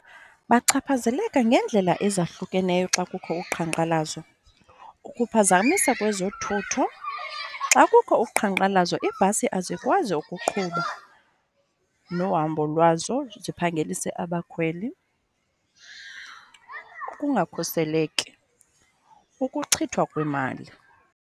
Bachaphazeleka ngeendlela ezahlukeneyo xa kukho uqhankqalazo. Ukuphazamisa kwezothutho. Xa kukho uqhankqalazo iibhasi azikwazi ukuqhuba nohambo lwazo ziphangelise abakhweli, ukungakhuseleki, ukuchithwa kwemali